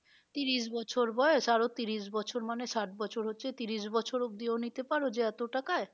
ত্রিশ বছর বয়স আরো ত্রিশ বছর মানে ষাট বছর হচ্ছে ত্রিশ বছর অবধি ও নিতে পারো যে এত টাকায়